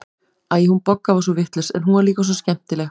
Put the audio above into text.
Æ, hún Bogga var svo vitlaus, en hún var líka svo skemmtileg.